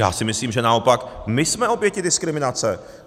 Já si myslím, že naopak my jsme oběti diskriminace.